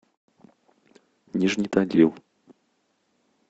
нижний тагил